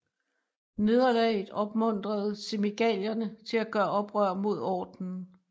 Nederlaget opmuntrede Semigalierne til at gøre oprør mod ordenen